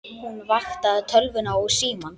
Hún vaktaði tölvuna og símann.